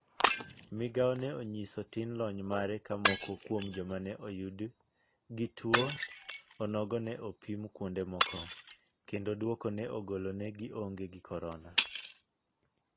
Migao ne onyiso tin lony mare ka moko kuom jom ne oyudi gi tuo onogo ne ipim kuonde moko ,kendo duoko ne golo ne gi onge gi korona.